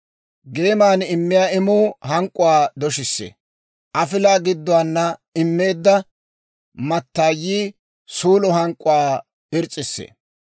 Geeman immiyaa imuu hank'k'uwaa doshissee. Afilaa gidduwaana immeedda mattaayii suulo hank'k'uwaa irs's'issee.